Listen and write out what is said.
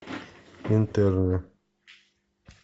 интерны